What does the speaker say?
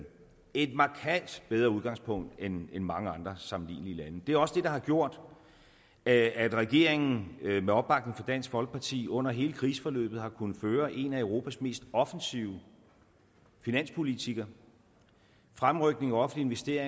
et markant bedre udgangspunkt end end mange andre sammenlignelige landes det er også det der har gjort at regeringen med opbakning fra dansk folkeparti under hele kriseforløbet har kunnet føre en af europas mest offensive finanspolitikker fremrykning af offentlige